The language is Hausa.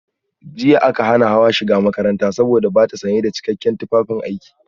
Jiya aka hana Hawa shiga makarantar saboda bata sanye da cikakken tufafin aiki